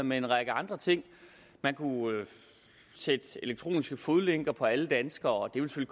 med en række andre ting man kunne sætte elektroniske fodlænker på alle danskere det ville